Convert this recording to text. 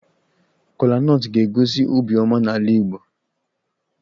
Kola nut ga-egosi obiọma n'ala Igbo